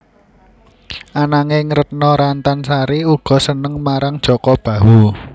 Ananging Retno Rantan Sari uga seneng marang Jaka Bahu